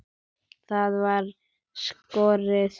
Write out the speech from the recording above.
Það voru skúrir.